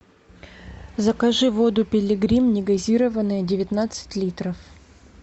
закажи воду пилигрим негазированная девятнадцать литров